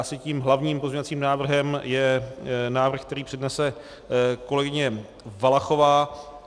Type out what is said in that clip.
Asi tím hlavním pozměňovacím návrhem je návrh, který přednese kolegyně Valachová.